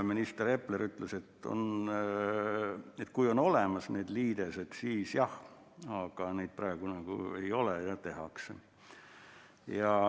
Minister Epler ütles, et kui on olemas need liidesed, siis jah, aga neid praegu ei ole, neid tehakse.